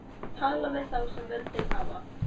Tala við þá sem völdin hafa.